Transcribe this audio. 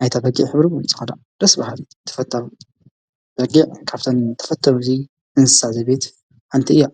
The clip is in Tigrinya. ኣይታ በጊዕ ኅብሪ ይተኸዳ ደስብሃብት ተፈታብ በጊዕ ካብተን ተፈተብ እዙይ እንሳሳ ዘቤት ሓንቲ እያ።